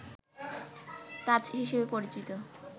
তাজ হিসেবে পরিচিত